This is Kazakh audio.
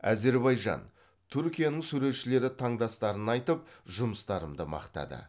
әзербайжан түркияның суретшілері таңдастарын айтып жұмыстарымды мақтады